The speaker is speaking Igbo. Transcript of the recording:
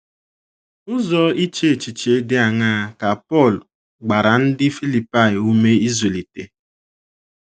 Ụzọ iche echiche dị aṅaa ka Pọl gbara ndị Filipaị ume ịzụlite?